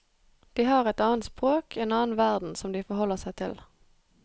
De har et annet språk, en annen verden som de forholder seg til.